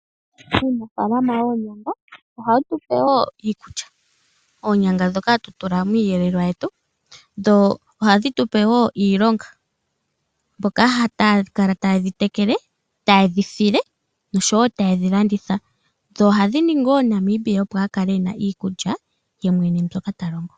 Aanafalama yoonyanga ohaye tu pe wo iikulya, oonyanga ndhoka hatu tula miiyelelwa yetu, dho ohadhi tupe wo iilonga mboka haya kala taye dhi tekele, taye dhi file noshowo taye dhi landitha dho ohadhi ningi wo Namibia a kale ena iikulya yemwene mbyoka ta longo.